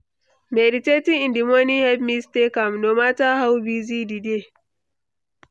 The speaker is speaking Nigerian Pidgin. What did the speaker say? Meditating in the morning help me stay calm, no matter how busy di day.